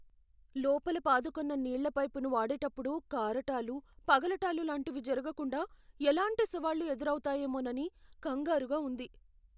లోపల పాదుకొన్న నీళ్ళ పైపును వాడేటప్పుడు కారటాలు, పగలటాలు లాంటివి జరగకుండా ఎలాంటి సవాళ్లు ఎదురావుతాయోమోనని కంగారుగా ఉంది.